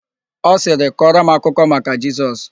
Ọ sirị, "kọrọ m akụkọ maka Jesus"!